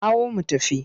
Hau mu tafi!